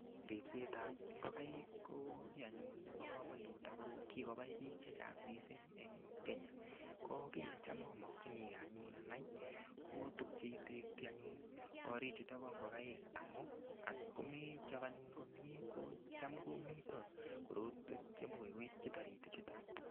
Ripsetab ngokaik ko kii anyun nebo komonut ako kikobai biik chechang' mising' eng' Kenya ko kii necham amokchinigei anyun anai ko tukche itekti anyun kori chuto bo ngokaik amu atkomechop anyun komyee kocham komito korotwek chemikoi koityi toriti chuto